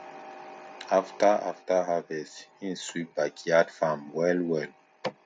after after harvest him sweep backyard farm well well